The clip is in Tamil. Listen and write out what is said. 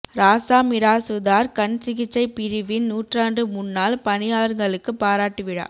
ராசா மிராசுதாா் கண் சிகிச்சைப் பிரிவின் நூற்றாண்டு முன்னாள் பணியாளா்களுக்கு பாராட்டு விழா